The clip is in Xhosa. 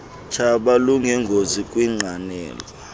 tshaba lunengozi kwiinqanawa